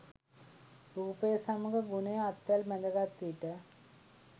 රූපය සමඟ ගුණය අත්වැල් බැඳ ගත් විට